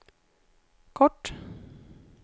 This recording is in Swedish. kort